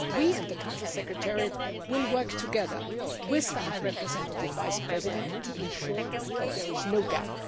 We and the Council Secretariat will work together with the High Representative Vice President to ensure that there is no gap.